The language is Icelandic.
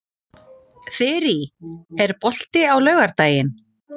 Þyrí, er bolti á laugardaginn?